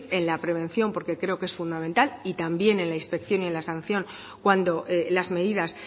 en la prevención porque creo que es fundamental y también la inspección y la sanción cuando las medidas